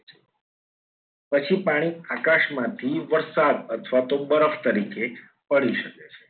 પછી પાણી આકાશમાંથી વરસાદ અથવા તો બરફ તરીકે પડી શકે છે.